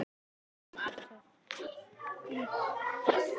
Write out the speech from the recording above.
Hvert var átrúnaðargoð þitt á yngri árum?